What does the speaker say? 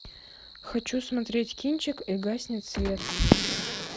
хочу смотреть кинчик и гаснет свет